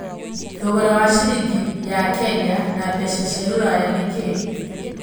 thogora wa ciringi ya Kenya na mbeca cia rũraya nĩ kĩĩ